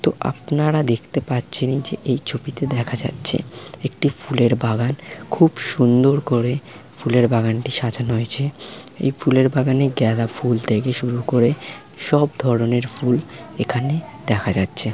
তো আপনারা দেখতে পাচ্ছেন যে এই ছবিতে দেখা যাচ্ছে একটি ফুলের বাগান খুব সুন্দর করে ফুলের বাগানটি সাজানো হয়েছে এই ফুলের বাগানে গেঁদা ফুল থেকে শুরু করে সব ধরনের ফুল এখানে দেখা যাচ্ছে।